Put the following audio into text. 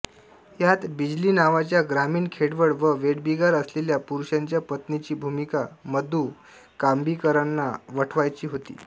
यात बिजली नावाच्या ग्रामीण खेडवळ व वेठबिगार असलेल्या पुरुषाच्या पत्नीची भूमिका मधू कांबीकरांना वठवायची होती